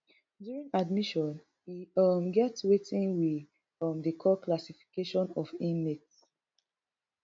during admission e um get wetin we um dey call classification of inmates